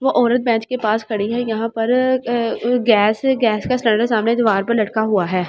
वो औरत बेंच के पास खड़ी है यहां पर गैस गैस का सिलेंडर सामने दीवार पर लटका हुआ है।